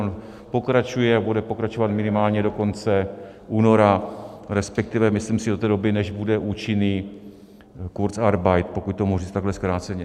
On pokračuje a bude pokračovat minimálně do konce února, respektive myslím si do té doby, než bude účinný kurzarbeit, pokud to mohu říct takhle zkráceně.